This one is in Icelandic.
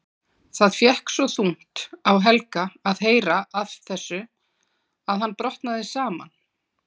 Það fékk svo þungt á Helga að heyra af þessu að hann brotnaði saman.